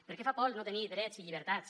perquè fa por el no tenir drets i llibertats